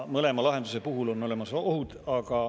Mõlema lahenduse puhul on olemas ohud.